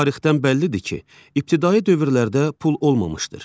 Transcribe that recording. Tarixdən bəllidir ki, ibtidai dövrlərdə pul olmamışdır.